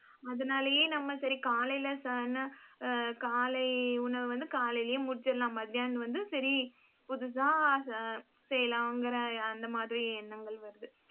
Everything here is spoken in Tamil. அதனாலேயே நம்ம சரி காலையிலே காலை உணவு வந்து, காலையிலேயே முடிச்சிடலாம். மத்தியானம் வந்து சரி புதுசா ச~ செய்யலாங்கிற அந்த மாதிரி எண்ணங்கள் வருது.